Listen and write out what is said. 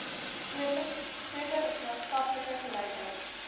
groter maatskaplike gelykheid